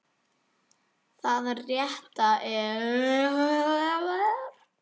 Það rétta er.